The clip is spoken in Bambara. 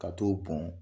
Ka t'o bɔn